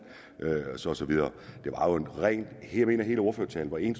og så videre jeg mener at hele ordførertalen var en